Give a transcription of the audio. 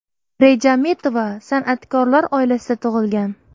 Rejametova san’atkorlar oilasida tug‘ilgan.